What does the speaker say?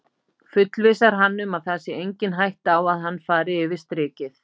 Fullvissar hann um að það sé engin hætta á að hann fari yfir strikið.